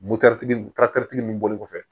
tigi tigi min bɔlen kɔfɛ